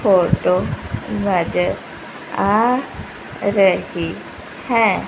Photo नजर आ रही हैं।